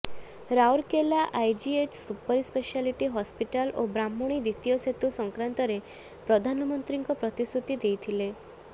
Rourkela IGH super speciality hospital ଓ ବ୍ରାହ୍ମଣୀ ଦ୍ବିତୀୟ ସେତୁ ସଂକ୍ରାନ୍ତରେ ପ୍ରଧାନମନ୍ତ୍ରୀଙ୍କ ପ୍ରତିଶ୍ରୁତି ଦେଇଥିଲେ